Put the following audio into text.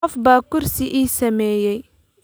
Qof baa kursi ii sameeyay